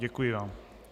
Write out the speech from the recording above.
Děkuji vám.